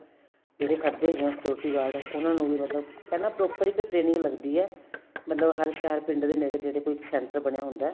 ਜਿਹੜੇ ਖੜਦੇ ਹੈਗੇ ਏ security guard ਉਨਾ ਨੂੰ ਵੀ ਮਤਲਬ ਪਹਿਲਾਂ proper ਇੱਕ training ਲੱਗਦੀ ਏ ਮਤਲਬ ਹਰ ਸ਼ਹਿਰ ਪਿੰਡ ਦੇ ਨੇੜੇ ਤੇੜੇ ਕੋਈ Centre ਬਣਿਆ ਹੁੰਦਾ